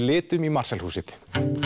litum í Marshall húsið